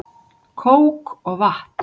Kók og vatn